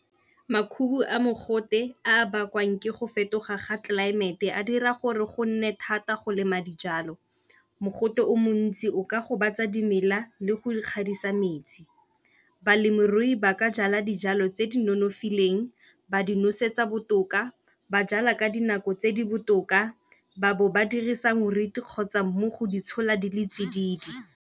Makhubu a mogote a bakwang ke go fetoga ga tlelaemete a dira gore go nne thata go lema dijalo. Mogote o montsi o ka gobatsa dimela le go ikgadisa metsi. Balemirui ba ka jala dijalo tse di nonofileng, ba di nosetsa botoka, ba jala ka dinako tse di botoka, ba bo ba dirisa kgotsa mmu go di tshola di le tsididi.